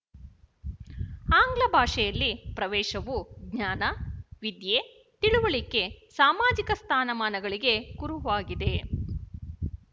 ಆಂಗ್ಲಭಾಷೆಯಲ್ಲಿ ಪ್ರವೇಶವು ಜ್ಞಾನ ವಿದ್ಯೆ ತಿಳುವಳಿಕೆ ಸಾಮಾಜಿಕ ಸ್ಥಾನಮಾನಗಳಿಗೆ ಕುರುವಾಗಿದೆ